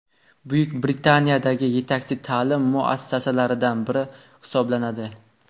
Buyuk Britaniyadagi yetakchi ta’lim muassasalaridan biri hisoblanadi.